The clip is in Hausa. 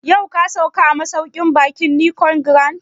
Yau ka sauka a masauƙin baƙin Nicon Grand?